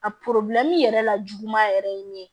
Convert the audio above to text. A yɛrɛ la juguman yɛrɛ ye min ye